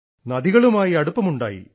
നദികളുമായി അടുപ്പം ഉണ്ടായി